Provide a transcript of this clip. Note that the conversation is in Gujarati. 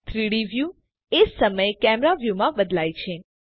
3ડી વ્યુ એ જ સમયે કેમેરા વ્યુમાં બદલાય છે